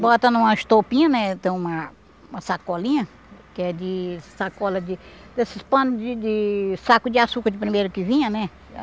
Bota numa estopinha né, tem uma uma sacolinha, que é de sacola de... desses panos de de saco de açúcar de primeiro que vinha, né?